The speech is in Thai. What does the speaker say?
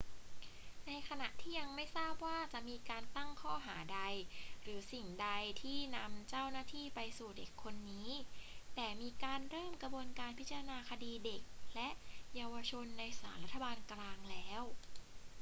ในขณะนี้ยังไม่ทราบว่าจะมีการตั้งข้อหาใดหรือสิ่งใดที่นำเจ้าหน้าที่ไปสู่เด็กคนนี้ แต่มีการเริ่มกระบวนการพิจารณาคดีเด็กและเยาวชนในศาลรัฐบาลกลางแล้ว